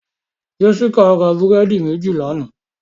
Jessica ra búrẹ́dì méjì lánàá